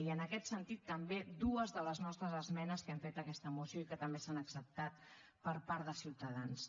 i en aquest sentit també dues de les nostres esmenes que hem fet a aquesta moció i que també s’han acceptat per part de ciutadans